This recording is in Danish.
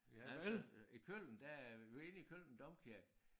Men altså i Køln der øh vi var inde i Køln domkirke